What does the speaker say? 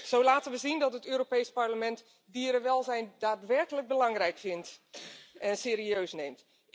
Zo laten we zien dat het Europees Parlement dierenwelzijn daadwerkelijk belangrijk vindt en serieus neemt.